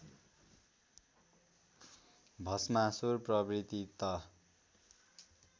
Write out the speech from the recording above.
भष्मासुर प्रवृत्ति त